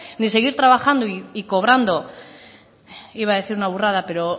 ni seguir trabajando y cobrando iba a decir una burrada pero